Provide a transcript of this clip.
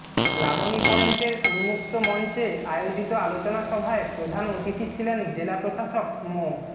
লাবণী পয়েন্টের উন্মুক্ত মঞ্চে আয়োজিত আলোচনা সভায় প্রধান অতিথি ছিলেন জেলা প্রশাসক মো